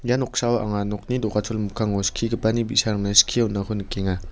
ia noksao anga nokni do·gachol mikkango skigipani bi·sarangna skie on·ako nikenga.